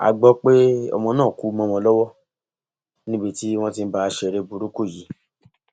a gbọ pé ọmọ náà kú mọ wọn lọwọ níbi tí wọn ti ń bá a ṣeré burúkú yìí